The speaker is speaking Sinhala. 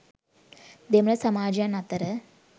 දෙමළ සමාජයන් අතර